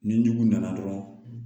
Ni jugu nana dɔrɔn